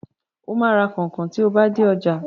Ó máa ra kọnkọn tí o bá dé ọjà.